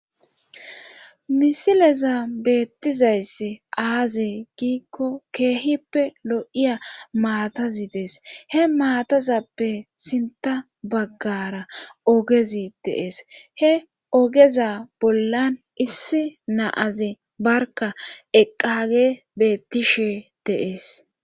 misileza beettizayssi aaze giikko keehippe lo7iya maatazi dees he maatazappe sinta baggara ogezi deees he ogeza bollan issi naaze barka eqqage beettishe deees